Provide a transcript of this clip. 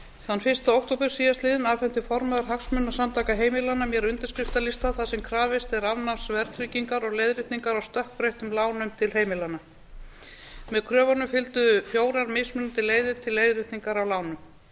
þann fyrsta október síðastliðinn afhenti formaður hagsmunasamtaka heimilanna mér undirskriftalista þar sem krafist er afnáms verðtryggingar og leiðréttingar á stökkbreyttum lánum til heimilanna með kröfunum fylgdu fjórar mismunandi leiðir til leiðréttingar á lánum